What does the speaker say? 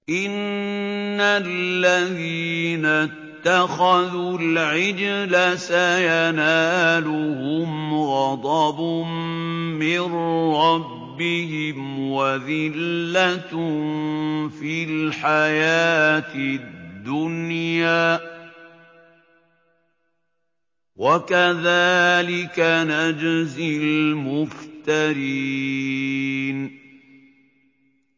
إِنَّ الَّذِينَ اتَّخَذُوا الْعِجْلَ سَيَنَالُهُمْ غَضَبٌ مِّن رَّبِّهِمْ وَذِلَّةٌ فِي الْحَيَاةِ الدُّنْيَا ۚ وَكَذَٰلِكَ نَجْزِي الْمُفْتَرِينَ